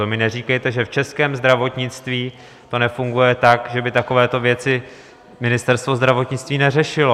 To mi neříkejte, že v českém zdravotnictví to nefunguje tak, že by takovéto věci Ministerstvo zdravotnictví neřešilo.